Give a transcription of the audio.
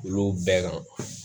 Olu bɛɛ kan